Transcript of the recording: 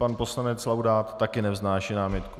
Pan poslanec Laudát taky nevznáší námitku.